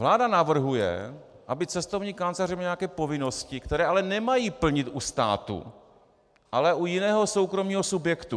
Vláda navrhuje, aby cestovní kanceláře měly nějaké povinnosti, které ale nemají plnit u státu, ale u jiného soukromého subjektu.